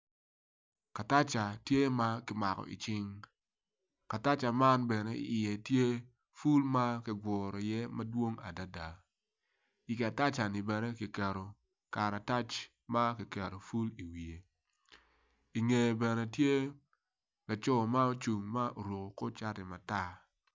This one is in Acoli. Kataca tye ma ki mako icing kataca man bene iye tye ful ma ki guru iye madwong adada i kataca-ni bene ki keto iye karatac ma ki keto ful iwiye inge bene tye laco ma ocung ma oruku kor cati matar